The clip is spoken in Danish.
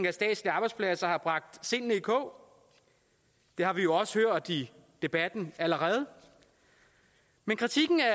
af statslige arbejdspladser har bragt sindene i kog det har vi jo også hørt i debatten allerede men kritikken af